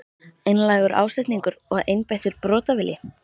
Einlægur ásetningur og einbeittur brotavilji?